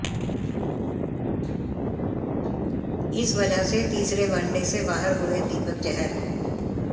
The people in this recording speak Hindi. इस वजह से तीसरे वनडे से बाहर हुए दीपक चहर